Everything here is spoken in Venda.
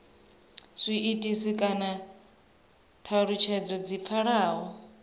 zwiitisi kana thalutshedzo dzi pfalaho